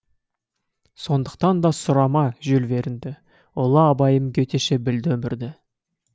сондықтан да сұрама жюль вернді ұлы абайым гетеше білді өмірді